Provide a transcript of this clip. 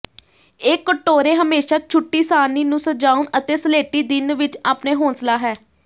ਇਹ ਕਟੋਰੇ ਹਮੇਸ਼ਾ ਛੁੱਟੀ ਸਾਰਣੀ ਨੂੰ ਸਜਾਉਣ ਅਤੇ ਸਲੇਟੀ ਦਿਨ ਵਿਚ ਆਪਣੇ ਹੌਸਲਾ ਹੈ